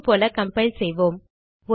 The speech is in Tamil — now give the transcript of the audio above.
முன்புபோல கம்பைல் செய்வோம்